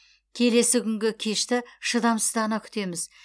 келесі күнгі кешті шыдамсыздана күтеміз